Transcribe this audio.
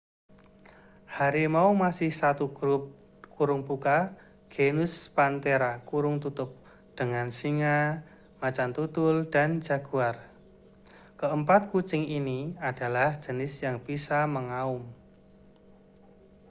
harimau masih satu grup genus panthera dengan singa macan tutul dan jaguar. keempat kucing ini adalah jenis yang bisa mengaum